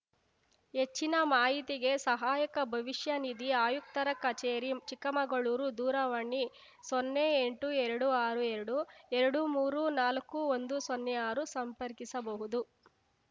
ಹೆಚ್ಚಿನ ಮಾಹಿತಿಗೆ ಸಹಾಯಕ ಭವಿಷ್ಯನಿಧಿ ಆಯುಕ್ತರ ಕಚೇರಿ ಚಿಕ್ಕಮಗಳೂರು ದೂರವಾಣಿ ಸೊನ್ನೆ ಎಂಟು ಎರ್ಡು ಆರು ಎರ್ಡು ಎರ್ಡು ಮೂರು ನಾಲ್ಕು ಒಂದು ಸೊನ್ನೆ ಆರು ಸಂಪರ್ಕಿಸಬಹುದು